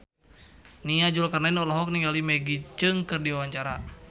Nia Zulkarnaen olohok ningali Maggie Cheung keur diwawancara